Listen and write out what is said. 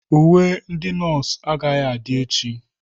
Uwe ndị nọọsụ agaghị adị echi.